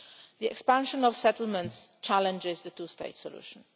The expansion of settlements challenges the two state solution.